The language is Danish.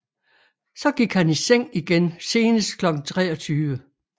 Så gik han i seng igen senest kl 23